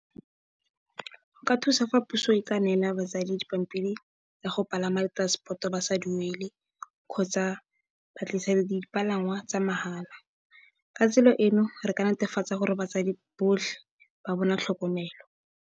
Go ka thusa fa puso e ka neela batsadi dipampiri tsa go palama le transepoto ba sa duele kgotsa, ba tlisediwe dipalangwa tsa mahala. Ka tsela eno re ka netefatsa gore batsadi botlhe ba bona tlhokomelo.